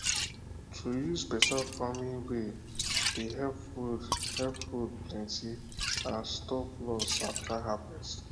to use better farming way dey help food help food plenty and stop loss after harvest